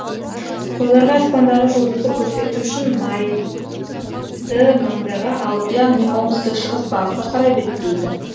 қойларға аспандағы жұлдызды көрсету үшін айды маңдайға алып яғни оңтүстік шығыс бағытқа қарай беттейді